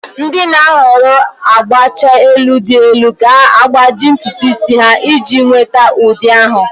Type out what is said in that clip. Ndị na-ahọrọ agbacha elu dị elu ga-agbaji ntutu isi ha iji nweta ụdị ahụ.